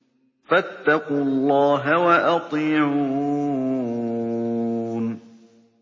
فَاتَّقُوا اللَّهَ وَأَطِيعُونِ